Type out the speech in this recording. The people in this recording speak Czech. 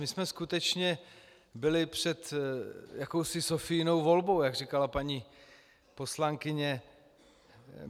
My jsme skutečně byli před jakousi Sophiinou volbou, jak říkala paní poslankyně.